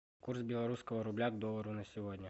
курс белорусского рубля к доллару на сегодня